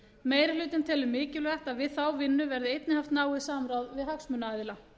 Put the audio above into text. meiri hlutinn telur mikilvægt að við þá vinnu verði einnig haft náið samráð við hagsmunaaðila